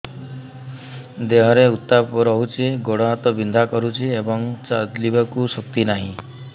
ଦେହରେ ଉତାପ ରହୁଛି ଗୋଡ଼ ହାତ ବିନ୍ଧା କରୁଛି ଏବଂ ଚାଲିବାକୁ ଶକ୍ତି ନାହିଁ